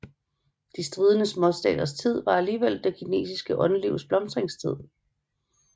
De stridende småstaters tid var alligevel det kinesiske åndslivs blomstringstid